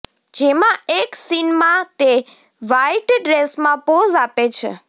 જેમાં એક સીનમાં તે વ્હાઇટ ડ્રેસમાં પોઝ આપે છે